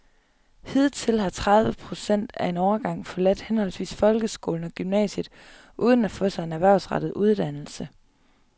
Hidtil har over tredive procent af en årgang forladt henholdsvis folkeskolen og gymnasiet uden at få sig en erhvervsrettet uddannelse.